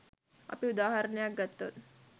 අපි උදාහරණයක් ගත්තොත්